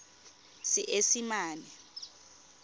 seesimane